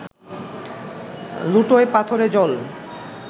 লুটোয় পাথরে জল